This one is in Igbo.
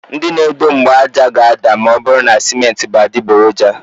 Ndị na edo mgbaaja ga-ada ma ọ bụrụ na simenti bú adịgboroja.